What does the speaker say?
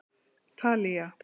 Talía